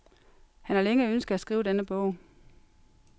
Han har længe ønsket at skrive denne bog.